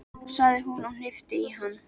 sagði hún og hnippti í hann.